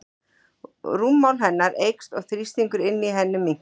Rúmmál hennar eykst og þrýstingur inni í henni minnkar.